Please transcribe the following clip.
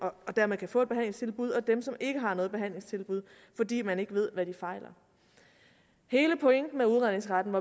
og dermed kan få et behandlingstilbud og dem som ikke har noget behandlingstilbud fordi man ikke ved hvad de fejler hele pointen med udredningsretten